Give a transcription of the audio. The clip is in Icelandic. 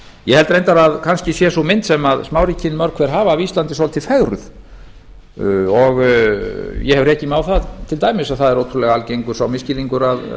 ég held reyndar að kannski sé sú mynd sem smáríkin mörg hver hafa af íslandi svolítið fegruð ég hef rekið mig á það til dæmis að það er ótrúlega algengur sá misskilningur